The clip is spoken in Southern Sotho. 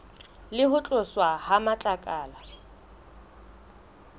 le ho tloswa ha matlakala